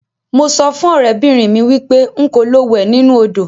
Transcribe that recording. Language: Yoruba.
Mo so fun orebinrin mi wipe nko lo we ninu odo.